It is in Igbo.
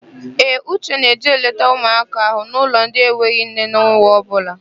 Ee, Uche na-eje eleta ụmụaka ahụ n'ụlọ ndị enweghị nne n'ọnwa ọbụla.